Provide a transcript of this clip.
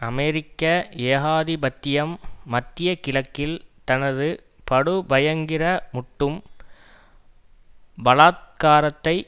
அமெரிக்க ஏகாதிபத்தியம் மத்திய கிழக்கில் தனது படுபயங்கரமூட்டும் பலாத்காரத்தை